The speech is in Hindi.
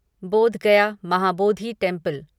बोध गया महाबोधि टेंपल